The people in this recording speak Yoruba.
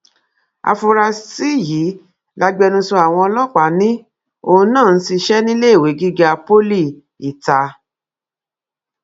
áfúrásì yìí lágbẹnusọ àwọn ọlọpàá ni òun náà ń ṣiṣẹ níléèwé gíga poli itah